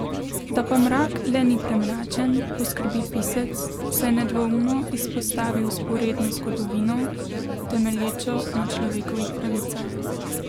Da pa mrak le ni premračen, poskrbi pisec, saj nedvoumno izpostavi vzporedno zgodovino, temelječo na človekovih pravicah.